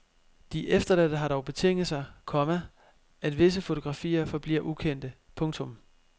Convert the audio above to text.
De efterladte har dog betinget sig, komma at visse fotografier forbliver ukendte. punktum